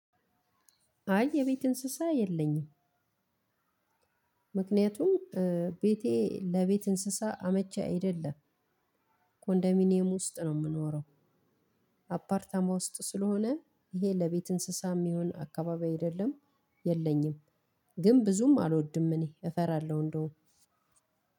አይ የቤት እንስሳ የለኝም ምክንያቱም ቤቴ ለቤት እንስሳ አመቺ አይደለም። ኮንዶሚኒየም ውስጥ ነው የምኖረው አፓርታማ ውስጥ ስለሆነ ይሄ ለቤት እንስሳም ሚሆን አካባቢ አይደለም የለኝም ግን ብዙም አልወድም እኔ እፈራለሁ እንደውም